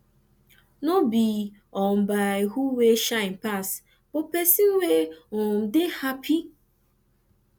no bi um by who wey shine pass but pesin wey um dey hapi